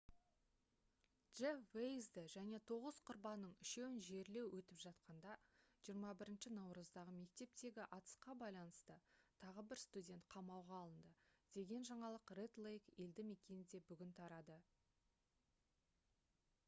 джеф вейзді және тоғыз құрбанның үшеуін жерлеу өтіп жатқанда 21 наурыздағы мектептегі атысқа байланысты тағы бір студент қамауға алынды деген жаңалық ред лейк елді мекенінде бүгін тарады